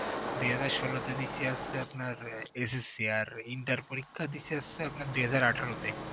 দু হাজাৱ ষোল তে দিছি হচ্ছে আপনার SSC আর inter পরীক্ষা দিছি হচ্ছে আপনার দু হাজাৱ আঠেরো তে